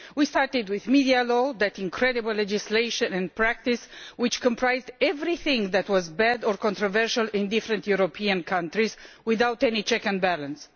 We started with media law, that incredible legislation and practice which comprised everything that was bad or controversial in different European countries without any check and balance.